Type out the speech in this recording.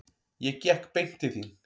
Ég gekk beint til þín.